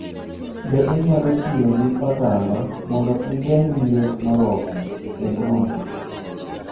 Be inyalo tiyo gi otamba mondo ogeng' liet moromo e brooder?